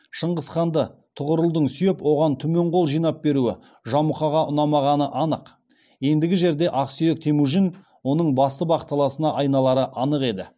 шыңғысханды тұғырылдың сүйеп оған түмен қол жинап беруі жамұқаға ұнамағаны анық ендігі жерде ақсүйек темужін оның басты бақталасына айналары анық еді